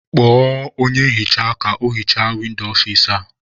Kpọọ onye nhicha ka o hichaa windo ọfici a!